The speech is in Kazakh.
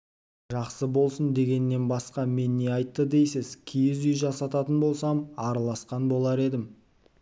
жақсы болсын дегеннен басқа мен не айтты дейсіз киіз үй жасататын болсам араласқан болар едім